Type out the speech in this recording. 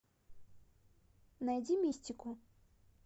найди мистику